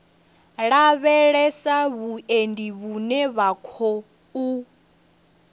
lavhelesa vhuendi vhune ha khou